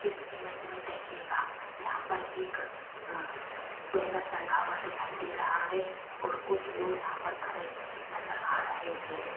इस इमेज में देखिएगा यहां पर एक बैनर टंगा हुआ दिखाई दे रहा है और कुछ लोग यहां पर खड़े नजर आ रहे हैं।